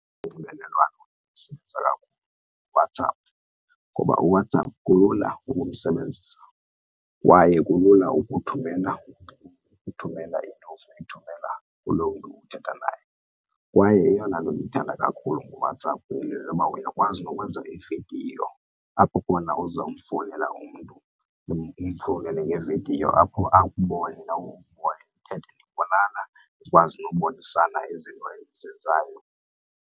Unxibelelwano endilisebenzisa kakhulu nguWhatsapp ngoba uWhatsApp kulula ukumsebenzisa kwaye kulula ukuthumela into into ofuna uyithumela kulo mntu uthetha naye. Kwaye eyona nto ndiyithanda kakhulu ngoWhatsApp ngoba uyakwazi nokwenza ividiyo apho khona uza kumfowunela umntu umfonele ngevidiyo apho akubone apho ukhoyo, nithethe nibonana nikwazi nokubonisana izinto enizenzayo.